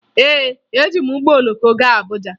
Ee, eji m ụgbọ oloko gaa Abuja